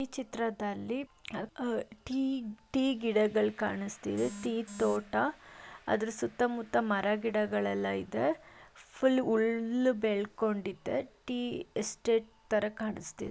ಈ ಚಿತ್ರದಲ್ಲಿ ಅ ಅ ಟೀ ಟೀ ಗಿಡಗಳ್ ಕಾಣಿಸ್ತಿದೆ ತೋಟ ಅದರ ಸುತ್ತಾ ಮುತ್ತಾ ಮರಗಿಡಗಳೆಲ್ಲಾ ಇದೆ ಪುಲ್‌ ಉಲ್ಲ್ ಬೆಳೆದುಕೊಂಡಿದೆ ಟೀ ಎಸ್ಟ್‌ಟ್‌ ಥರ ಕಣ್ಸ್ತ್ --